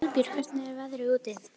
Valbjörg, hvernig er veðrið úti?